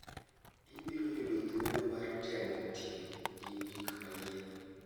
Ibiro yudo thuolo mar temo tiyo gi gik manyien.